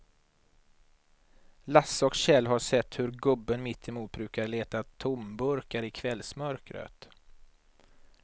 Lasse och Kjell har sett hur gubben mittemot brukar leta tomburkar i kvällsmörkret.